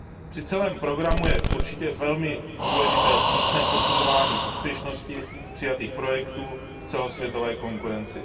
Při celém programu je určitě velmi důležité přísné posuzování úspěšnosti přijatých projektů v celosvětové konkurenci.